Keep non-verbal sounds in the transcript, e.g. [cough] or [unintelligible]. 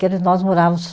[unintelligible] Nós morávamos.